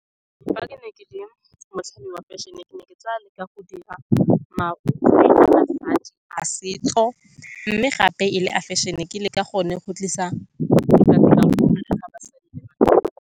Fa ke ne ke le wa fashion-e, ke ne ke tla leka go dira marokgwe a basadi a setso, mme gape e le a fashion-e. Ke leka gone go tlisa basadi le .